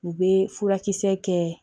U bɛ furakisɛ kɛ